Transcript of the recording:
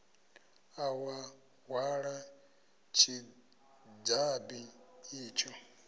ḓa wa hwala tshidzabi itsho